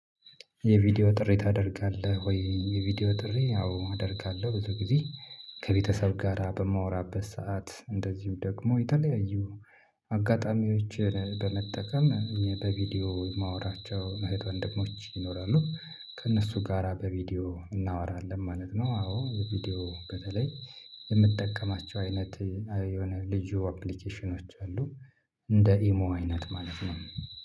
የቪዲዮ ጥሪ ታደርጋለህ ወይ የቪዲዮ ጥሪ አዎ አደርጋለሁ ብዙ ጊዜ ከቤተሰብ ጋራ በማወራበት ሰዓት እንደዚሁ ደግሞ የተለያዩ አጋጣሚዎችን በመጠቀም እኔ በቪዲዮ የማወራቸው እህት ወንድሞች ይኖራሉ። ከእነሱ ጋራ በቪዲዮ እናወራለን ማለት ነው፤ አዎ ቪዲዮ በተለይ የምትጠቀማቸው አይነት የሆነ ልዩ አፕሊኬሽኖች አሉ እንደ ኢሞ አይነት ማለት ነው